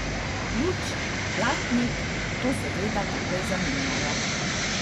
Luč, blatnik, to seveda takoj zamenjajo.